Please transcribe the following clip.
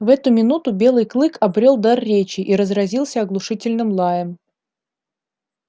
в эту минуту белый клык обрёл дар речи и разразился оглушительным лаем